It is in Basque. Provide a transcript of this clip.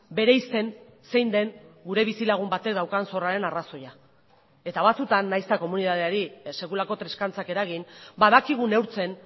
bereizten zein den gure bizilagun batek daukan zorraren arrazoia eta batzutan nahiz eta komunitateari sekulako triskantzak eragin badakigu neurtzen